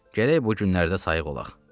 gərək bu günlərdə sayıq olaq.